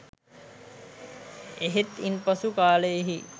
එහෙත් ඉන්පසු කාලයෙහි